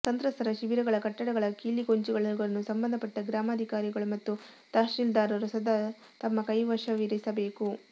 ಸಂತ್ರಸ್ತರ ಶಿಬಿರಗಳ ಕಟ್ಟಡಗಳ ಕೀಲಿಗೊಂಚಲುಗಳನ್ನು ಸಂಬಂಧಪಟ್ಟ ಗ್ರಾಮಾಧಿಕಾರಿಗಳು ಮತ್ತು ತಹಶೀಲ್ದಾರರು ಸದಾ ತಮ್ಮ ಕೈವಶವಿರಿಸಬೇಕು